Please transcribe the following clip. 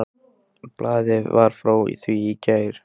Blaðið var frá því í gær.